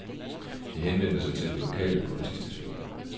De henvendte sig til den lokale politistation.